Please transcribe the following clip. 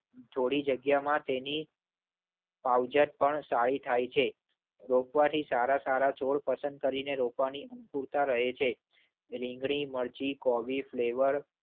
થોડી જગ્યામાં તેની પાવજત પણ સારી થાય છે. રોપવાથી સારા સારા છોડ પસંદ કરીને રોપવાની અંકુરતા રહે છે. રીંગણી મરચી કોબી ફ્લેવર